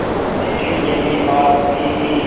लेकिन यह भी बात थी कि